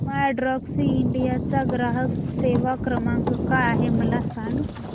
My Taxi India चा ग्राहक सेवा क्रमांक काय आहे मला सांग